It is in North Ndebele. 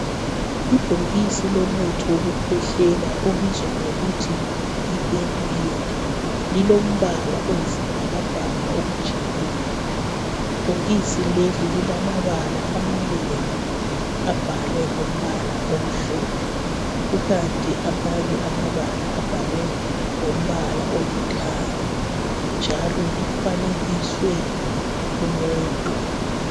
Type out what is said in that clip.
Ibhokisi lomuthi wokukhwehlela obizwa ngokuthi Yi benylin lilombala oyisibhakabhaka okujiyileyo ibhokisi leli lilamabala amanengi abhalwe ngombala omhlophe kukanti amanye amabala abhalwe ngombala olithanga njalo lifanekiswe umuntu.